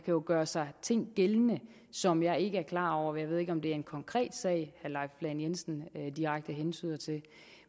jo gøre sig ting gældende som jeg ikke er klar over jeg ved ikke om det er en konkret sag som leif lahn jensen direkte hentyder til